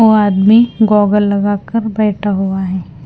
ओ आदमी गोगल लगाकर बैठा हुआ है।